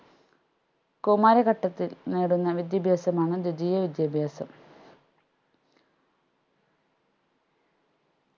കൗമാരഘട്ടത്തിൽ നേടുന്ന വിദ്യാഭ്യാസമാണ് ദ്വിതീയ വിദ്യാഭ്യാസം